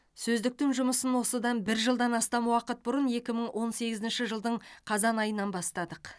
сөздіктің жұмысын осыдан бір жылдан астам уақыт бұрын екі мың он сегізінші жылдың қазан айынан бастадық